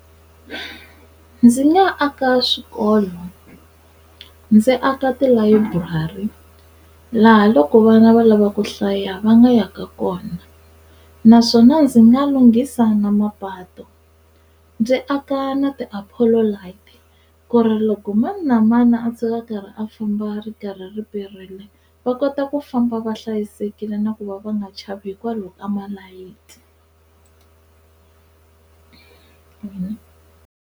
Ndzi nga aka swikolo, ndzi aka tilayiburari laha loko vana va lava ku hlaya va nga yaka kona naswona ndzi nga lunghisa na mapatu ndzi aka na ti-apolo light ku ri loko mani na mani a tshuka a karhi a famba a ri karhi ri perile va kota ku famba va hlayisekile na ku va va nga chavi hikwalaho ka malayithi.